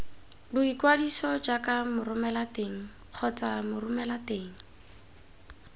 boikwadiso jaaka moromelateng kgotsa moromelateng